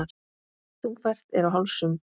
Þungfært er á hálsum.